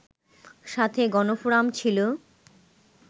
সাথে গণফোরাম ছিলো